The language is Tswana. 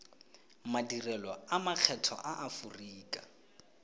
madirelo a makgetho a aforika